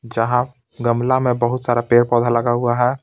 जहाँ गमला में बहुत सारा पेड़-पौधा लगा हुआ है।